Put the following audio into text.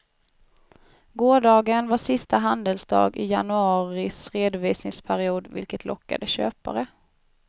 Gårdagen var sista handelsdag i januaris redovisningsperiod vilket lockade köpare.